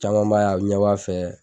Caman b'a ye a bɛ ɲɛ b'a fɛ.